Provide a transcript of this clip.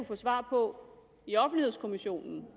få svar på i offentlighedskommissionen